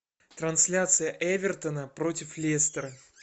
трансляция эвертона против лестера